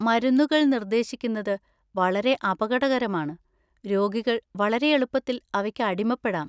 മരുന്നുകൾ നിർദ്ദേശിക്കുന്നത് വളരെ അപകടകരമാണ്; രോഗികൾ വളരെ എളുപ്പത്തിൽ അവയ്ക്ക് അടിമപ്പെടാം.